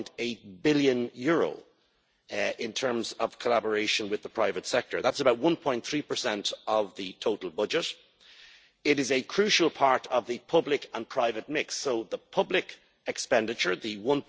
1.8 billion in terms of collaboration with the private sector. That's about 1.3 of the total budget. It is a crucial part of the public and private mix, so the public expenditure the EUR